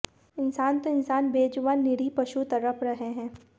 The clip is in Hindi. इंसान तो इंसान बेजुबान और निरीह पशु तड़प रहे हैं